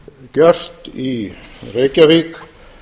gjört í reykjavík